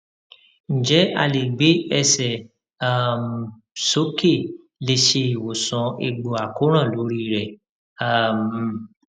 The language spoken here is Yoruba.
njẹ a le gbe ẹsẹ um soke le se iwosan egbo akoran lori re um